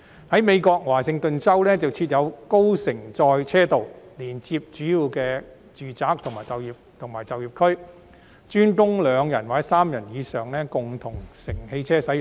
在美國的華盛頓州設有高乘載車道，連接主要的住宅區與就業區，專供載有2人或3人以上共乘汽車使用。